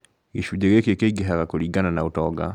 gĩcunjĩ gĩkĩ kĩingĩhaga kũringana na ũtonga